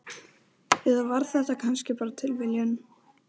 Eða var þetta kannski bara tilviljun?